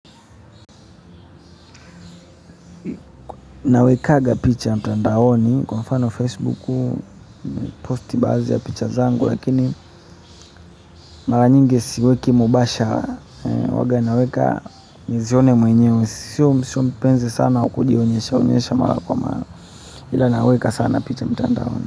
Nawekaga picha mtandaoni kwa mfano Facebooku nimeposti baadhi ya picha zangu lakini mara nyingi siweki mubashara huwaga naweka nizione mwenyewe sio mi sio mpenzi sana wa kujionyesha onyesha mara kwa mara ila naweka sana picha mtandaoni.